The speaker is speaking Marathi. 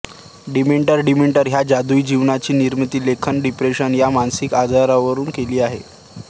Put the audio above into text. डिमेन्टर डिमेन्टर ह्या जादुई जीवाची निर्मिती लेखिकेने डिप्रेशन ह्या मानसिक आजारावरून केली आहे